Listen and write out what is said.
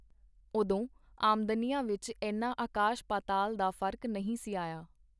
ਓਦੋਂ ਆਮਦਨੀਆਂ ਵਿਚ ਏਨਾ ਆਕਾਸ਼-ਪਾਤਾਲ ਦਾ ਫਰਕ ਨਹੀਂ ਸੀ ਆਇਆ.